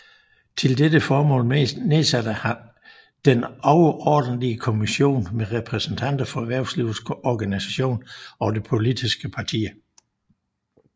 Til dette formål nedsatte han Den overordentlige Kommission med repræsentanter for erhvervslivets organisationer og de politiske partier